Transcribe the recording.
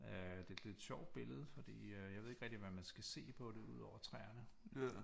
Øh det er et lidt sjovt billede fordi jeg ved ikke rigtig hvad man skal se på det udover træerne